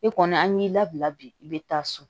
E kɔni an y'i labila bi i bɛ taa so